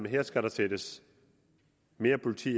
at her skal der sættes mere politi